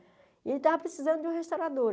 E ele estava precisando de uma restauradora.